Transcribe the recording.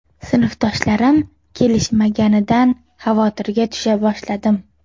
Sinfdoshlarim kelishmaganidan xavotirga tusha boshladim.